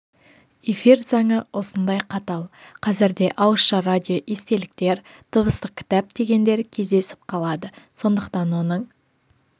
эфир заңы осындай қатал қазір де ауызша радио естеліктер дыбыстық кітап дегендер кездесіп қалады сондықтан оның